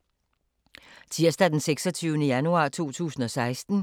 Tirsdag d. 26. januar 2016